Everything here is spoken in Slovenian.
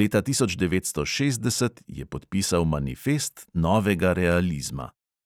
leta tisoč devetsto šestdeset je podpisal manifest novega realizma.